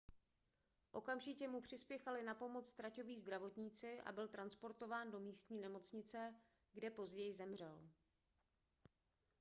okamžitě mu přispěchali na pomoc traťoví zdravotníci a byl transportován do místní nemocnice kde později zemřel